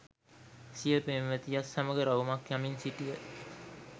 සිය පෙම්වතියත් සමග රවුමක් යමින් සිටිය